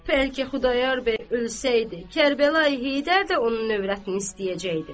Bəlkə Xudayar bəy ölsəydi, Kərbəlayı Heydər də onun övrətini istəyəcəkdi.